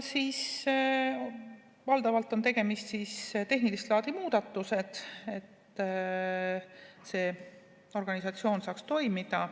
Valdavalt on tegemist tehnilist laadi muudatustega, et see organisatsioon saaks toimida.